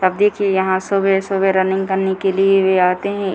तब देखिए यहाँ सवेरे-सवेरे रनिंग करने के लिए भी आते हैं ।